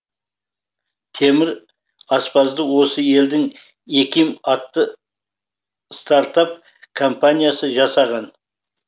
темір аспазды осы елдің эким атты стартап компаниясы жасаған